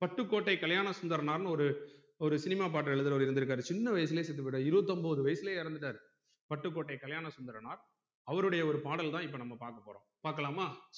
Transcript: பட்டுக்கோட்டை கல்யாணசுந்தரனார் ஒரு ஒரு cinema பாட்டு எழுதறவரு இருந்துருக்காறு சின்ன வயசுலே செத்து போயிட்டாரு இருபத்தொன்பது வயசுலே இறந்துட்டாரு பட்டுக்கோட்டை கல்யாணசுந்தரனார் அவருடைய ஒரு பாடல் தான் இப்ப நம்ம பாக்கபோறோம் பாக்கலாமா